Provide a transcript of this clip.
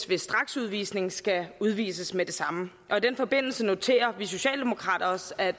ved straksudvisning skal udvises med det samme og i den forbindelse noterer vi socialdemokrater os at